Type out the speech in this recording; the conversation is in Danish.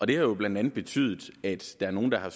det har jo blandt andet betydet at der er nogle der er